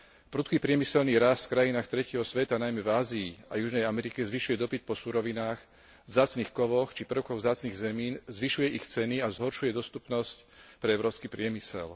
Prudký priemyselný rast v krajinách tretieho sveta najmä v Ázii a v Južnej Amerike zvyšuje dopyt po surovinách, vzácnych kovoch či prvkoch vzácnych zemín, zvyšuje ich ceny a zhoršuje dostupnosť pre európsky priemysel.